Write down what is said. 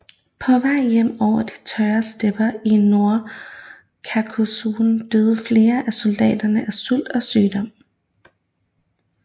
På vej hjem over de tørre stepper i Nordkaukasus døde flere af soldaterne af sult og sygdom